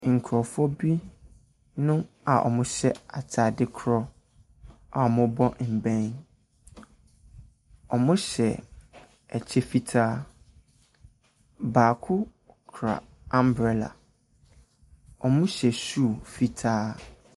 Nkrɔfo bi a wɔ hyɛ ataade korɔ a ɔmmu bɔ mbɛn. Ɔmmu hyɛ ɛkyɛ fitaa. Baako kura ambrɛlla. Ɔmmu hyɛ hyuu fitaa.